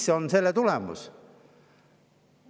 Mis on selle tulemus?